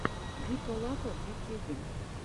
вика лапа в ютьюбе